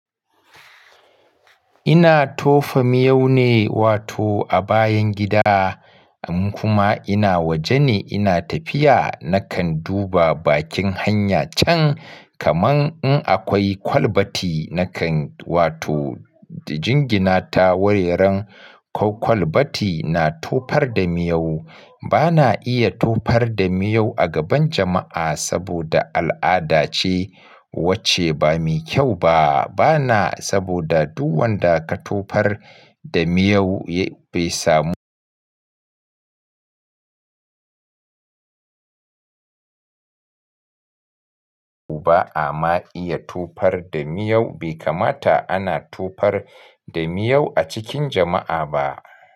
Ina tofa miyau ne wato a bayan gida kuma ina waje ne ina tafiya nakan duba bakin hanya can. Kaman in akwai kwalbati nakan wato jingina ta wuraren kwalkwalbati na tofar da miyau. Bana iya tofar da miyau a gaban jama'a saboda al'ada ce wacce ba mai kyau ba. Bana saboda duk wanda ka tofar da miyau bai samu ba ama iya tofar da miyau bai kamata ana tofar da miyau a cikin jama'a ba.